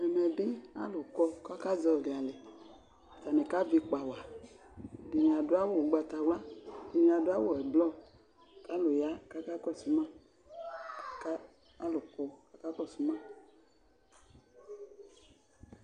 ɛmɛbi alʋ kɔ k'aka ʒiɔli alɛ atani k'avi ikpa whatƐɖini aɖʋ awu ugbatawlua, ɛɖini aɖʋ awu ʋblɔ, k'alu yaa k'akakɔsu maKa alʋ kɔ k'akakɔsuma